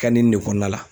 Ka nin de kɔnɔna la